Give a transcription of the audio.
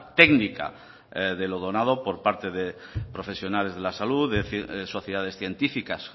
técnica de lo donado por parte de profesionales de la salud sociedades científicas